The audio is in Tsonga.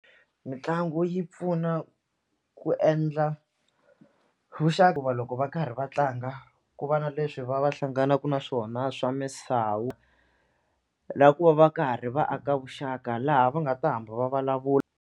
Mitlangu yi pfuna ku endla hikuva loko va karhi va tlanga ku va na leswi va va hlanganaka na swona swa misavu na ku va va karhi va aka vuxaka laha va nga ta hamba va vulavula.